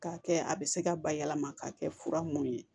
K'a kɛ a bɛ se ka bayɛlɛma k'a kɛ fura mun ye